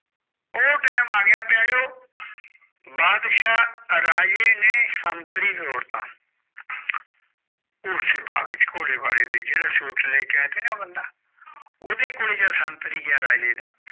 ਓ time ਆ ਗਯਾ ਬਾਦਸ਼ਾ ਰਾਜੇ ਨੇ ਸੰਤਰੀ ਤਾਂ ਨਾ ਬੰਦਾ ਉਦੇ ਕੋਲ ਜਾ ਸੰਤਰੀ ਜਾ ਰਾਜੇ ਦਾ